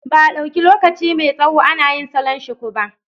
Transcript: Ba a ɗauki lokaci mai tsawo ana yin salon shuku ba.